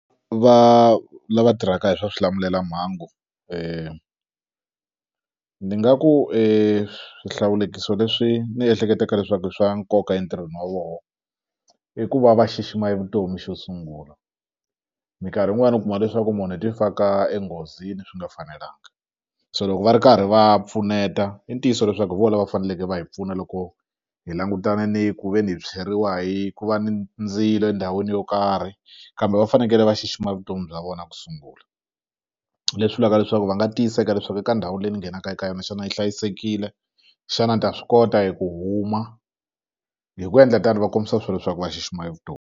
Va lava tirhaka hi swa swilamulelamhangu ni nga ku swihlawulekiso leswi ni ehleketaka leswaku i swa nkoka entirhweni wa voho i ku va va xixima e vutomi xo sungula minkarhi yin'wani u kuma leswaku munhu i ti faka enghozini swi nga fanelanga so loko va ri karhi va pfuneta i ntiyiso leswaku hi vo lava faneleke va hi pfuna loko hi langutana ni ku ve ni hi tshweriwa hi ku va ni ndzilo endhawini yo karhi kambe va fanekele va xixima vutomi bya vona ku sungula leswi vulaka leswaku va nga tiyiseka leswaku eka ndhawu leyi ni nghenaka eka yona xana yi hlayisekile xana ni ta swi kota eku huma hi ku endla tano va kombisa swo leswaku va xixima vutomi.